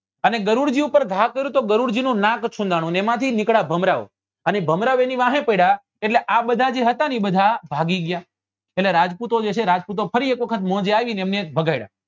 અને ગરુડ જી ઉપર ઘા કર્યો તો ગરુડ જી નું નાક છુન્દાનું ને એમાં થી નીકળ્યા ભમરાઓ અને ભમરા ઓ એની વાહે પડ્યા એટલે આ બધા જે હતા ને એ બધા ભાગી ગયા એટલે રાજપૂતો જે છે એ રાજપૂતો ફરી એક વખત મોજે આવી ને એમને ભગ્ડાયા